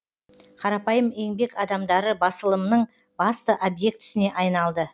қарапайым еңбек адамдары басылымның басты объектісіне айналды